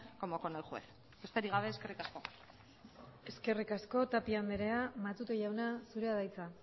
como con el juez besterik gabe eskerrik asko eskerrik asko tapia andrea matute jauna zurea da hitza